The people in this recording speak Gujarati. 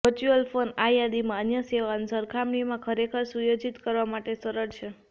વર્ચ્યુઅલ ફોન આ યાદીમાં અન્ય સેવાઓ સરખામણીમાં ખરેખર સુયોજિત કરવા માટે સરળ છે